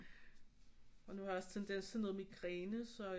Og nu har jeg også tendens til noget migræne så